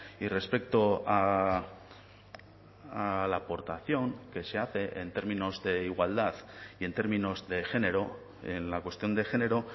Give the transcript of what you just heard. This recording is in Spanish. y respecto a la aportación que se hace en términos de igualdad y en términos de género en la cuestión de género